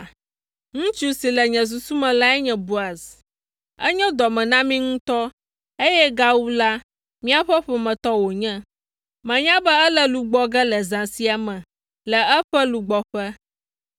Ŋutsu si le nye susu me lae nye Boaz. Enyo dɔ me na mí ŋutɔ, eye gawu la, míaƒe ƒometɔ wònye. Menya be ele lu gbɔ ge le zã sia me le eƒe lugbɔƒe,